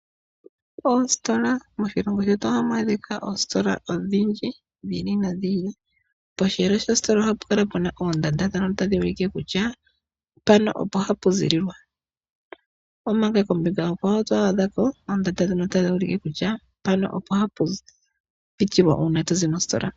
Oositola. Moshilongo shetu ohamu adhika oositola odhindji dhi ili no dhi ili. Posheelo shositola ohapukala puna oondanda ndhono tadhi ulike kutya mpano opo hapu ziililwa omanga . Omanga kombinga onkwawo oto adha ko oondanda ndhono tadhi ulike kutya mpano opo hapu pitilwa uuna to zi mositola.